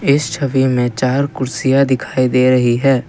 इस छवि में चार कुर्सियां दिखाई दे रही है।